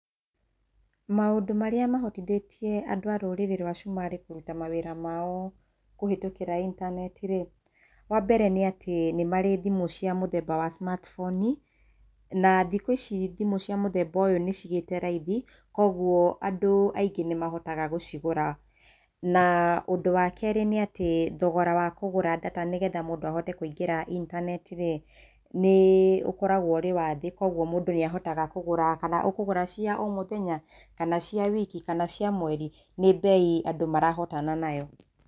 Maũndũ marĩa mahotithĩtie andũ a rũrĩrĩ rwa cumarĩ kũruta mawĩra mao kũhĩtũkĩra intaneti rĩ, wa mbere nĩ atĩ nĩmarĩ thimũ cia mũthemba wa cimatiboni, na thikũ ici thimũ cia mũthemba ũyũ nĩcigĩte raithi, koguo andũ aingĩ nĩ mahotaga gũcigũra. Na ũndũ wa kerĩ nĩ atĩ thogora wa kũgũra ndata nĩgetha mũndũ ahote kũingĩra intanetirĩ, nĩ ũkoragwo ũrĩ wa thĩ koguo mũndũ nĩahotaga kũgũra. Kana ũkũgũra cia o mũthenya, kana ũkũgũra cia wiki, kana cia mweri, nĩ mbei andũ marahotana nayo.